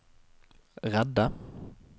redde